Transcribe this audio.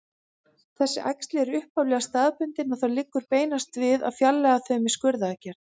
Þessi æxli eru upphaflega staðbundin og þá liggur beinast við að fjarlægja þau með skurðaðgerð.